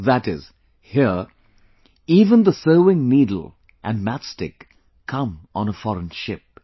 That is, here, even the sewing needle and match stick come on a foreign ship